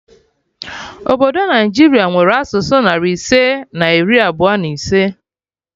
Obodo Naijiria nwere asụsụ narị ise na iri abụọ na ise